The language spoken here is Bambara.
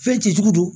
Fɛn jiju don